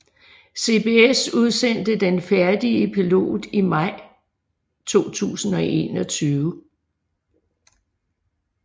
CBS udsendte den færdige pilot i maj 2021